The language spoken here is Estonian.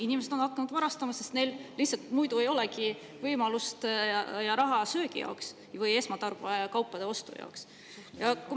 Inimesed on hakanud varastama, sest neil lihtsalt ei olegi muud võimalust söögi või esmatarbekaupade jaoks.